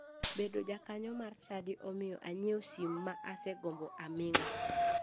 Bedo jakanyo mar chadi omiyo anyiewo sim ma osegombo aming'a.